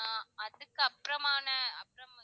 ஆஹ் அதுக்கப்புறமான அதுக்கப்புறம்